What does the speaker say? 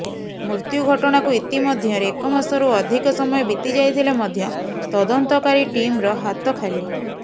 ମୃତ୍ୟୁ ଘଟଣାକୁ ଇତିମଧ୍ୟରେ ଏକମାସରୁ ଅଧିକ ସମୟ ବିତିଯାଇଥିଲେ ମଧ୍ୟ ତଦନ୍ତକାରୀ ଟିମ୍ର ହାତ ଖାଲି